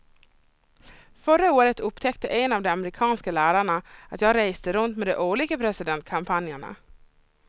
Förra året upptäckte en av de amerikanska lärarna att jag reste runt med de olika presidentkampanjerna.